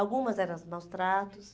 Algumas era maus tratos.